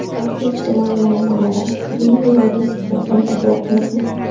Hafta ijtimoiy muammolari: Kremniy vodiysiga intilyapmizmi?.